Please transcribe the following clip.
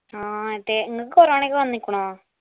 ആ അതെ നിങ്ങക്ക് corona ഒക്കെ വന്നിക്കുണോ